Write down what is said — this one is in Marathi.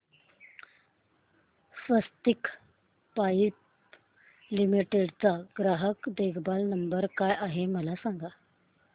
स्वस्तिक पाइप लिमिटेड चा ग्राहक देखभाल नंबर काय आहे मला सांगा